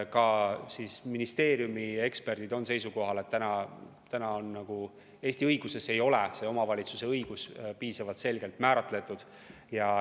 Ka ministeeriumi eksperdid on seisukohal, et Eesti õiguses ei ole see omavalitsuse õigus piisavalt selgelt määratletud.